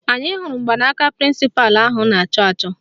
Anyị hụrụ mgbanaka prịnsịpalụ ahụ a na-achọ achọ